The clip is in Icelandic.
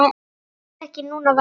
LÁRUS: Ekki núna, væni minn.